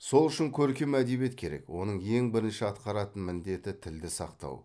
сол үшін көркем әдебиет керек оның ең бірінші атқаратын міндеті тілді сақтау